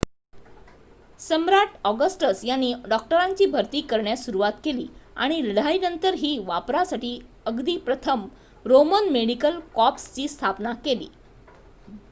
सम्राट Augustus यांनी डॉक्टरांची भरती करण्यास सुरवात केली आणि लढाईनंतरही वापरासाठी अगदी प्रथम रोमन मेडिकल कॉर्प्सची स्थापना केली